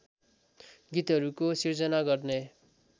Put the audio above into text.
गीतहरूको सिर्जना गर्ने